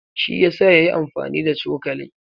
Shi yasa yayi amfani da cokalin.